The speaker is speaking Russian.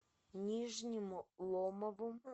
нижнему ломову